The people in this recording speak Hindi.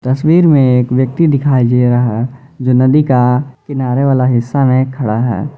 तस्वीर में एक व्यक्ति दिखाई दे रहा है जो नदी का किनारे वाला हिस्सा में खड़ा है।